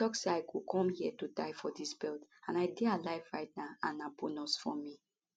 i tok say i go come hia to die for dis belt and i dey alive right now and na bonus for me